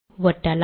ஒட்டலாம்